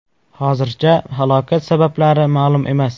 Hozircha halokat sabablari ma’lum emas.